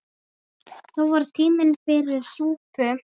Þó var tími fyrir súpu.